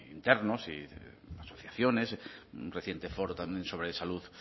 internos asociaciones un reciente foro también sobre salud